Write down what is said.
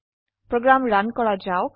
program run কৰা যাওক